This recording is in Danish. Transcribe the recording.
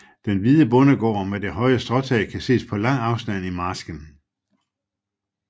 Den hvide bondegård med det høje stråtag kan ses på lang afstand i marsken